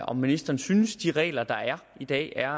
om ministeren synes at de regler der er i dag er